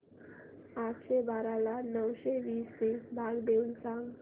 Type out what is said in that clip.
आठशे बारा ला नऊशे वीस ने भाग देऊन सांग